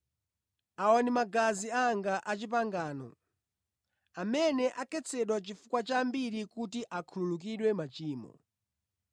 Awa ndi magazi anga a pangano amene akhetsedwa chifukwa cha ambiri kuti akhululukidwe machimo.